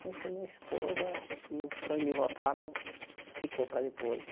Conheci a minha esposa e o sonho de voltar não ficou para depois.